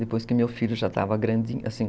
Depois que meu filho já estava grandinho, assim